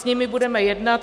S nimi budeme jednat.